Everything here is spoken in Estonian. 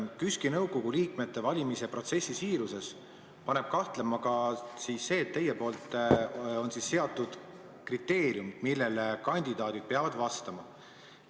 KÜSK-i nõukogu liikmete valimise protsessi siiruses paneb kahtlema ka see, et teie poolt on seatud kriteeriumid, millele kandidaadid peavad vastama.